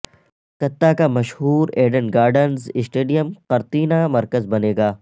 کلکتہ کا مشہور Eden Gardens stadium قرنطینہ مرکز بنے گا